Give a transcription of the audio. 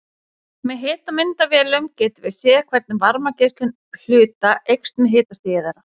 Með hitamyndavélum getum við séð hvernig varmageislun hluta eykst með hitastigi þeirra.